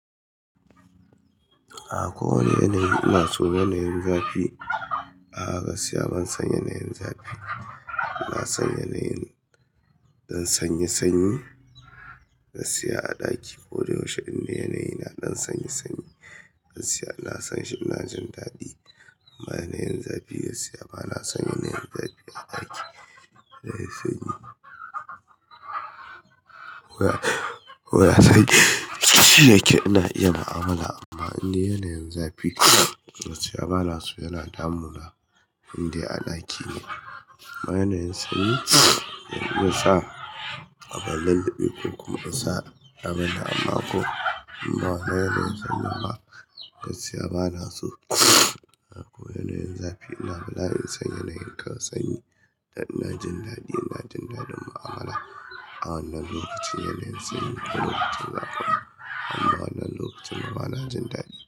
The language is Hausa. A ko wane yanayi ina so yanayin zafi. A'a gaskiya ban san yanayin zafi. Na san yanayin ɗan sanyi sanyi na siya a ɗaki. Ko da yaushe inda yanayi na ɗan sanyi sanyi na siya. Na san shi, ina jin daɗi amma yanayin zafi gaskiya bana son yanayin zafi a ɗaki. Yanayin sanyi. Ko ya koya kai, shi yake ina iya mu'amala amma inda yanayin zafi gaskiya bana so. Yana damuna in dai a ɗaki ne. Amma yanayin sanyi yanzu sa abin lullubi ko kuma insa abin nan amma ko. Amma yanayin sanyi ma gaskiya bana so. Ko yanayin zafi ina kula yin san yanayin kan sanyi. Da ina jin daɗi ina jin daɗin mu'amala. A wannan lokacin yanayin sanyi ko lokacin zafi ne amma wannan lokacin bana jin daɗi.